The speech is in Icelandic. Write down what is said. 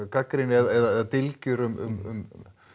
gagnrýni eða dylgjur um